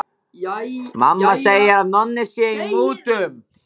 Mamma segir að Nonni sé í mútum.